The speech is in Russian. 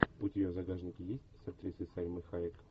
у тебя в загашнике есть с актрисой сальмой хайек